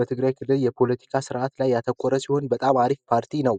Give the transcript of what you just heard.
በትግራይ የፖለቲካ ስርአት ላይ ያተኮረችውን በጣም አሪፍ ፓርቲ ነው